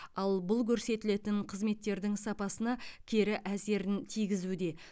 ал бұл көрсетілетін қызметтердің сапасына кері әсерін тигізуде